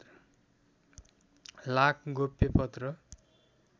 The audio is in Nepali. लाख गोप्य पत्र